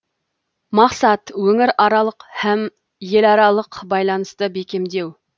мақсат өңіраралық һәм еларалық байланысты бекемдеу